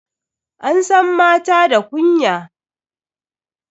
An san mata da kunya.